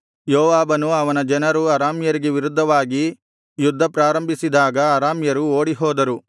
ಯೋವಾಬನೂ ಅವನ ಜನರೂ ಅರಾಮ್ಯರಿಗೆ ವಿರುದ್ಧವಾಗಿ ಯುದ್ಧಪ್ರಾರಂಭಿಸಿದಾಗ ಅರಾಮ್ಯರು ಓಡಿಹೋದರು